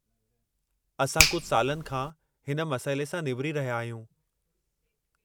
असां कुझु सालनि खां हिन मसइले सां निबिरी रहिया आहियूं।